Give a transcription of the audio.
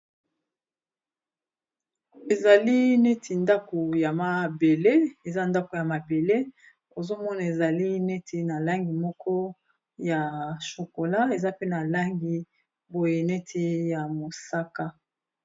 Ezali neti ndaku ya mabele eza ndako ya mabele ozomona ezali neti na langi moko ya chokola eza pe na langi boye neti ya mosaka.